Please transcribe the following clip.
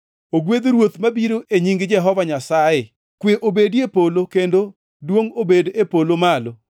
“Ogwedh Ruoth mabiro e nying Jehova Nyasaye!” + 19:38 \+xt Zab 118:26\+xt* “Kwe obedi e polo, kendo duongʼ obed e polo malo!”